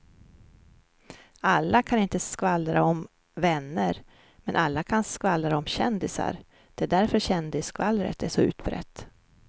Alla kan inte skvallra om vänner men alla kan skvallra om kändisar, det är därför kändisskvallret är så utbrett.